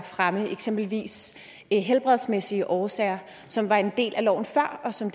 frem eksempelvis helbredsmæssige årsager som var en del af loven før og som